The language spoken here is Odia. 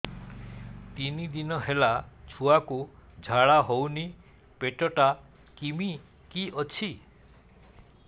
ତିନି ଦିନ ହେଲା ଛୁଆକୁ ଝାଡ଼ା ହଉନି ପେଟ ଟା କିମି କି ଅଛି